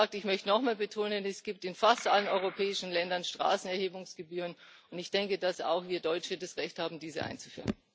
Ich möchte noch einmal betonen es gibt in fast allen europäischen Ländern Straßenerhebungsgebühren und ich denke, dass auch wir Deutsche das Recht haben, diese einzuführen.